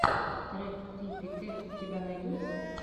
трек крипи кэт у тебя найдется